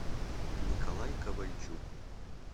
николай ковальчук